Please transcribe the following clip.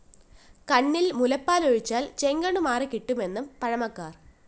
കണ്ണില്‍ മുലപ്പാല്‍ ഒഴിച്ചാല്‍ ചെങ്കണ്ണു മാറിക്കിട്ടുമെന്ന് പഴമക്കാര്‍